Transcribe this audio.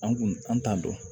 An kun an t'a dɔn